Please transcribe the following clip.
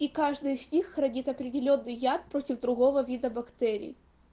и каждый из них хранит определённый яд против другого вида бактерий